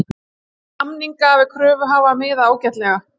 Segir samninga við kröfuhafa miða ágætlega